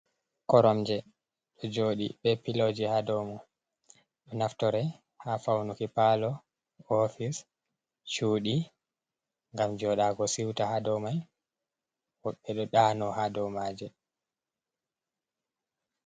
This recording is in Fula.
Koromje ɗo jooɗi be pillow ji ha dou mum. Ɗo naftore ha faunuki palour, office, cudi ngam joɗaago siuta ha dou mai. Ɓe ɗo ɗaano ha dou maje.